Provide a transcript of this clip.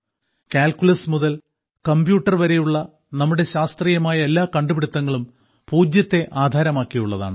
calculus മുതൽ computer വരെയുള്ള നമ്മുടെ ശാസ്ത്രീയമായ എല്ലാ കണ്ടുപിടുത്തങ്ങളും സീറോയെ ആധാരമാക്കിയുള്ളതാണ്